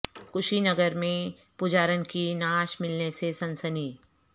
کشی نگر میں پجارن کی نعش ملنے سے سنسنی